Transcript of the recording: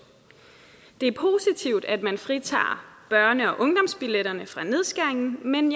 det er positivt at man fritager børne og ungdomsbilletterne fra nedskæringen men